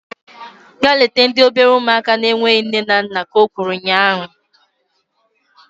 Gaa leta ndị obere ụmụaka na-enweghị nne na nna! Ka o kwuru ụnyaahụ